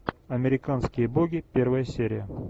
американские боги первая серия